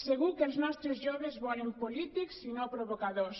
segur que els nostres joves volen polítics i no provocadors